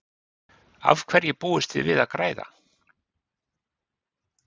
Af hverju búist þið við að græða?